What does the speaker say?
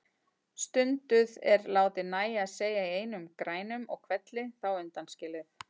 Stunduð er látið nægja að segja í einum grænum og hvelli þá undanskilið.